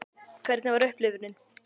Hvernig var upplifunin?